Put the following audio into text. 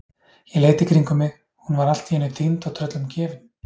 Ég leit í kringum mig, hún var allt í einu týnd og tröllum gefin!